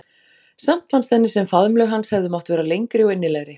Samt fannst henni sem faðmlög hans hefðu mátt vera lengri og innilegri.